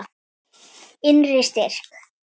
Innri styrk.